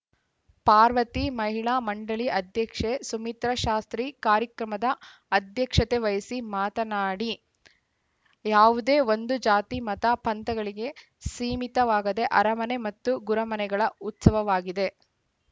ಪಾರ್ವತಿ ಮಹಿಳಾ ಮಂಡಳಿ ಅಧ್ಯಕ್ಷೆ ಸುಮಿತ್ರಾಶಾಸ್ತ್ರಿ ಕಾರ್ಯಕ್ರಮದ ಅಧ್ಯಕ್ಷತೆವಹಿಸಿ ಮಾತನಾಡಿ ಯಾವುದೇ ಒಂದು ಜಾತಿ ಮತ ಪಂಥಗಳಿಗೆ ಸೀಮಿತವಾಗದೆ ಅರಮನೆ ಮತ್ತು ಗುರಮನೆಗಳ ಉತ್ಸವವಾಗಿದೆ